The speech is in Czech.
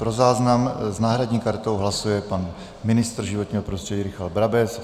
Pro záznam - s náhradní kartou hlasuje pan ministr životního prostředí Richard Brabec.